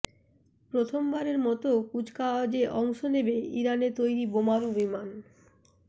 প্রথমবারের মতো কুচকাওয়াজে অংশ নেবে ইরানে তৈরি বোমারু বিমান